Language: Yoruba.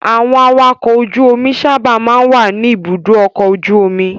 Àwọn awakọ̀ ojú-omi sábà máa ń wà ní Ibùdó-ọkọ̀ ojú-omi.